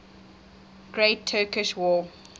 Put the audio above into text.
great turkish war